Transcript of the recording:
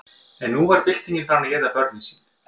en nú var byltingin farin að éta börnin sín